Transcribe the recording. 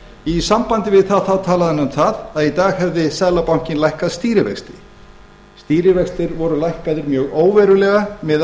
í sambandi við það þá talaði hann um það að í dag hefði seðlabankinn lækkað stýrivexti stýrivextir voru lækkaðir mjög óverulega miðað